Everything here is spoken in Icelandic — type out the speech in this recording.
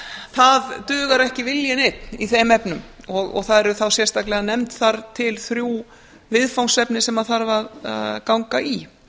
það dugar ekki viljinn einn í þeim efnum og það eru þá sérstaklega nefnd þar til þrjú viðfangsefni sem þarf að ganga í